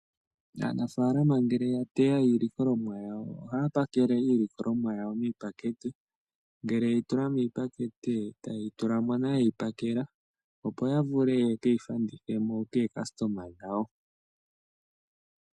Aanafaalama ngele ya teya iilikolomwa yawo, ohaya pakele iilikolomwa yawo miipakete. Ngele ye yi tula miipakete ohaye ke yi fanditha po kaalandi yawo.